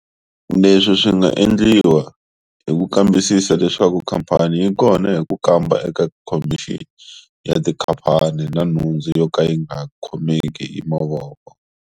Leswi swi nga endliwa hi ku kambisisa leswaku khamphani yi kona hi ku kamba eka Khomixini ya Tikhamphani na Nhundzu yo ka yi nga khomeki hi mavoko.